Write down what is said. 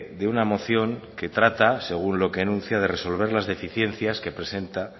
de una moción que trata según lo que anuncia de resolver las deficiencias que presenta